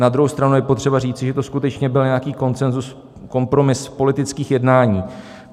Na druhou stranu je potřeba říci, že to skutečně byl nějaký konsenzus, kompromis politických jednání.